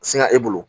Singa e bolo